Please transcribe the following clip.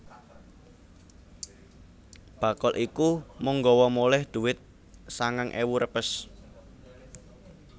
Bakul iku mung nggawa moleh dhuwit sangang ewu repes